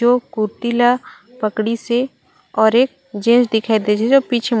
जो कुर्ती ला पकड़ीसे और एक जेन्स दिखाई देत हे जो पीछे--